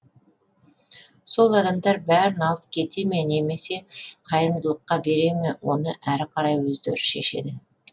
сол адамдар бәрін алып кете ме немесе қайырымдылыққа бере ме оны әрі қарай өздері шешеді